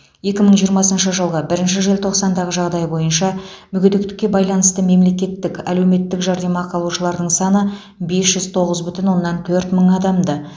екі мың жиырмасыншы жылғы бірінші желтоқсандағы жағдай бойынша мүгедектікке байланысты мемлекеттік әлеуметтік жәрдемақы алушылардың саны бес жүз тоғыз бүтін оннан төрт мың адамды